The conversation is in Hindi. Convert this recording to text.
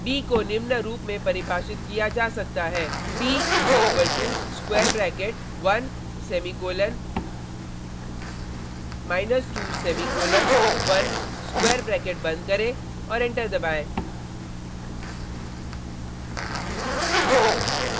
b को निम्न रूप में परिभाषित किया जा सकता है b is equal to square bracket 1 semicolon 2 semicolon 1 square bracket बंद करें और एंटर दबाएँ